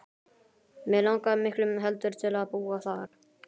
Mig langaði miklu heldur til að búa þar.